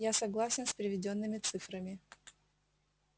я согласен с приведёнными цифрами